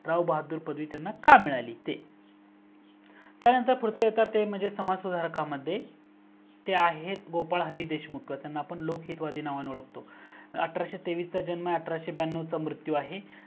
राव बहादुर पदवी त्यांना का मिळाली त्यानंतर पुढचे समाज सुधारक ते आहेत गोपाल हरी देशमुख आपण त्यांना लोक हितवादि म्हणून ओळखतो अठराशे तेवीस च जन्म आहे आणि अठराशे ब्यानव च मृत्यू आहे